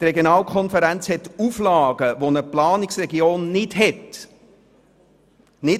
Die Regionalkonferenz hat Auflagen zu erfüllen, die für eine Planungsregion nicht gelten.